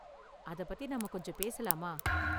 அதப் பத்தி நாம கொஞ்சம் பேசலாமா?